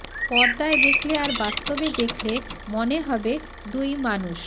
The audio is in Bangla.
পর্দায় দেখলে আর বাস্তবে দেখলে মনে হবে দুই মানুষ